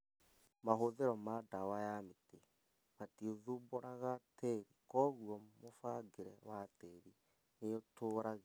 Mahũthĩro ma ndawa ya mĩtĩ, matithumbũraga tĩri kwoguo mũbangĩre wa tĩri nĩũtũragio